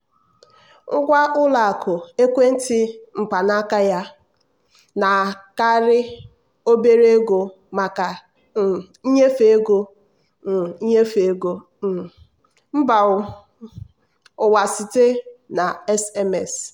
ngwa ụlọ akụ ekwentị mkpanaaka na-anakarị obere ego maka um nnyefe ego um nnyefe ego um mba um ụwa site na sms.